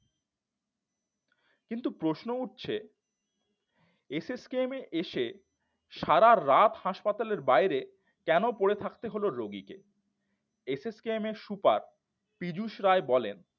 কিন্তু প্রশ্ন উঠছে এস এস কেমে এসে সারারাত হাসপাতালের বাইরে কেন পড়ে থাকতে হলো রোগীকে এস এস কেমে এর সুপার পীযুষ রায় বলেন